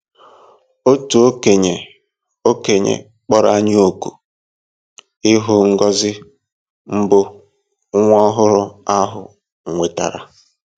Otu okenye okenye kpọrọ anyị òkù ịhụ ngọzi mbụ nwa ọhụrụ ahụ nwetara.